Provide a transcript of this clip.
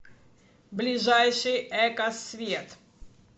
ближайший экосвет